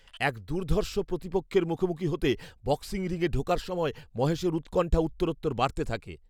এক দুর্ধর্ষ প্রতিপক্ষের মুখোমুখি হতে, বক্সিং রিংয়ে ঢোকার সময় মহেশের উৎকণ্ঠা উত্তরোত্তর বাড়তে থাকে।